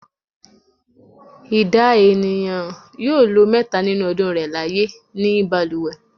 Ìdá ènìyàn yóò mẹhta nínú ọdún rẹ̀ láyé ní balùwẹ̀.